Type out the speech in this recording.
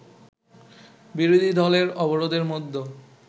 বিরোধী দলের অবরোধের মধ্যে